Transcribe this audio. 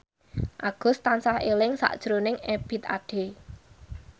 Agus tansah eling sakjroning Ebith Ade